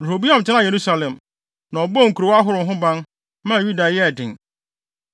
Rehoboam tenaa Yerusalem, na ɔbɔɔ nkurow ahorow ho ban, maa Yuda yɛɛ den.